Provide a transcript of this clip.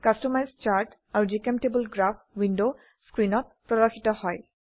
customise chart আৰু জিচেম্টেবল graph window স্ক্ৰিনত প্ৰদৰ্শিত হয়